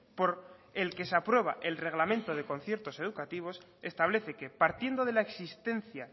por el que se aprueba el reglamento de conciertos educativos establece que partiendo de la existencia